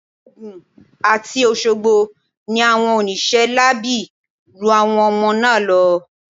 Ogun àti Òṣogbo ni àwọn oníṣẹ́ láabi ru àwọn ọmọ náà lọ.